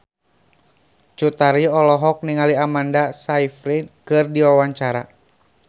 Cut Tari olohok ningali Amanda Sayfried keur diwawancara